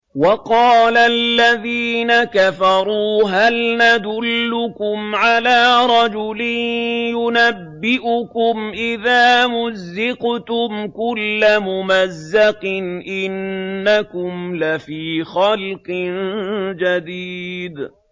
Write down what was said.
وَقَالَ الَّذِينَ كَفَرُوا هَلْ نَدُلُّكُمْ عَلَىٰ رَجُلٍ يُنَبِّئُكُمْ إِذَا مُزِّقْتُمْ كُلَّ مُمَزَّقٍ إِنَّكُمْ لَفِي خَلْقٍ جَدِيدٍ